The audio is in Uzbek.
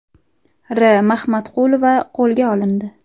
R. Mahmatqulova qo‘lga olindi.